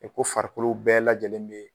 E ko farikolo bɛɛ lajɛlen be